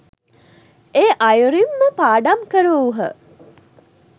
ඒ අයුරින්ම පාඩම් කරවූහ